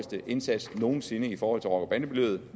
indsats nogen sinde i forhold til rocker bande miljøet